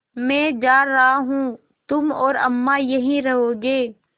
मैं जा रहा हूँ तुम और अम्मा यहीं रहोगे